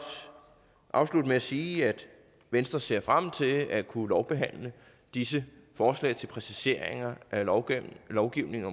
afslutte med at sige at venstre ser frem til at kunne behandle disse forslag til præciseringer af lovgivningen lovgivningen